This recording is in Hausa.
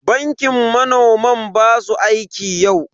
Bankin manoman ba su aiki yau.